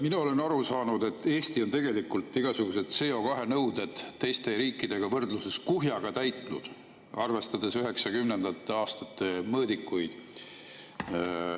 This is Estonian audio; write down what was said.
Mina olen aru saanud, et Eesti on tegelikult igasugused CO2 nõuded teiste riikidega võrdluses kuhjaga täitnud, arvestades 1990. aastate mõõdikuid.